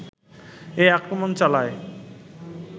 এ আক্রমণ চালায়